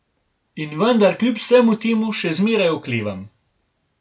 In vendar kljub vsemu temu še zmeraj oklevam.